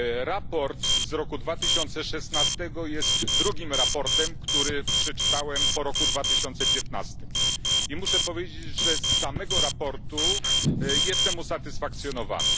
Raport z roku 2016 jest drugim raportem, który przeczytałem po roku 2015 i muszę powiedzieć, że z samego raportu jestem usatysfakcjonowany.